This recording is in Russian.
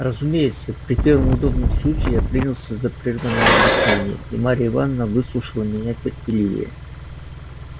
разумеется при первом удобном случае я принялся за прерванное объяснение и марья ивановна выслушала меня терпеливее